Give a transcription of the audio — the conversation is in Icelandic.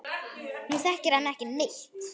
Hún þekkir hann ekki neitt.